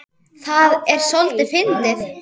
Það er soldið fyndið.